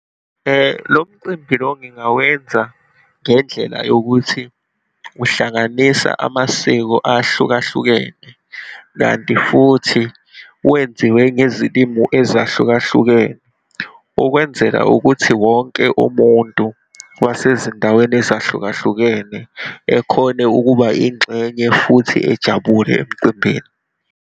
Lo mcimbi lo ngingawenza ngendlela yokuthi uhlanganisa amasiko ahlukahlukene, kanti futhi wenziwe ngezilimu ezahlukahlukene. Ukwenzela ukuthi wonke umuntu wase zindaweni ezahlukahlukene ekhona ukuba ingxenye futhi ejabule emcimbini.